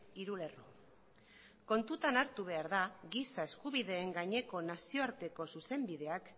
hiru lerro kontutan hartu behar da giza eskubideen gaineko nazioarteko zuzenbideak